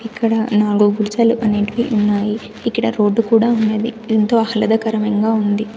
ఇక్కడ నాల్గు గుడిసెలు అనేటివి ఉన్నాయి ఇక్కడ రోడ్డు కూడా ఉన్నది ఎంతో ఆహ్లాదకరణంగా ఉంది--